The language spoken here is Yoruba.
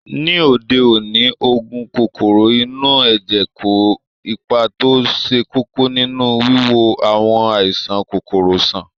Ní òde òní, oògùn kòkòrò inú ẹ̀jẹ̀ kó ipa tó ṣe kókó nínú wíwo àwọn àìsàn kòkòrò sàn